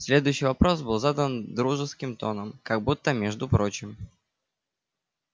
следующий вопрос был задан дружеским тоном как будто между прочим